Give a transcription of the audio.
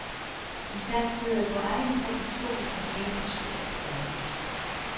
De satsede på egenproduktion og tjente stort på det.